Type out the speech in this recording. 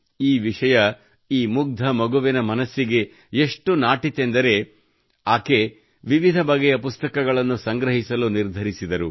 ಈ ವಿಷಯ ಈ ಮುಗ್ಧ ಮಗುವಿನ ಮನಸ್ಸಿಗೆ ಎಷ್ಟು ನಾಟಿತೆಂದರೆ ಅವಳು ವಿವಿಧ ಬಗೆಯ ಪುಸ್ತಕಗಳನ್ನು ಸಂಗ್ರಹಿಸಲು ನಿರ್ಧರಿಸಿದಳು